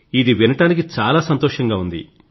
ఇది వినడానికి చాలా సంతోషంగా ఉంది